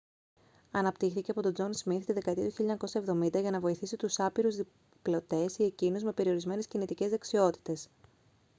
αναπτύχθηκε από τον τζον σμιθ τη δεκαετία του 1970 για να βοηθήσει τους άπειρους διπλωτές ή εκείνους με περιορισμένες κινητικές δεξιότητες